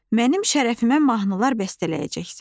Mənim şərəfimə mahnılar bəstələyəcəksən.